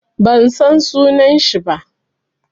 Ban san sunan shi ba.